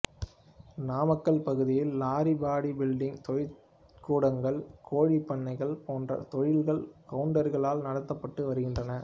நாமக்கல் பகுதியில் lorry body building தொழிற்கூடங்கள் கோழிப் பண்ணைகள் போன்ற தொழில்கள் கவுண்டர்களால் நடத்தப்பட்டு வருகின்றன